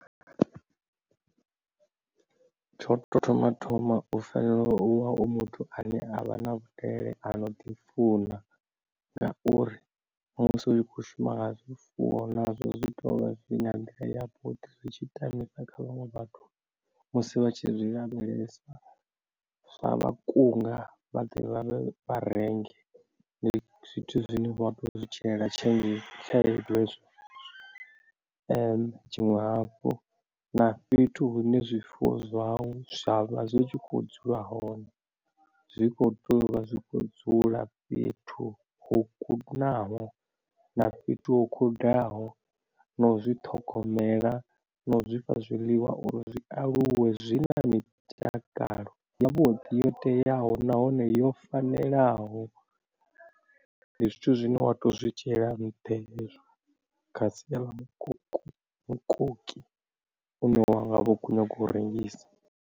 Tsho to thoma thoma u fanela u vha u muthu ane avha na vhudele ano ḓi funa ngauri musi u tshi khou shuma nga zwifuwo nazwo zwi zwitshi tamisa kha vhaṅwe vhathu musi vha tshi lavhelesa zwa vha kunga vha ḓe vharengi ndi zwithu zwine vha kho zwi tshilela tshiṅwe hafhu na fhethu hune zwifuwo zwau zwavha zwi tshi kho dzula hone zwi kho toyovha zwi kho dzula fhethu ho kunaho na fhethu ho khudaho na u zwi ṱhogomela na u zwifha zwiḽiwa uri zwi aluwe zwi na mitakalo yavhuḓi yo teaho nahone yo fanelaho. Ndi zwithu zwine wa to zwi dzhiela nnṱha hezwo kha sia ḽa mukoko mukoki une wa nga vho khou nyaga u rengisa.